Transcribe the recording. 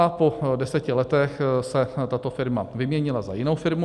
A po deseti letech se tato firma vyměnila za jinou firmu.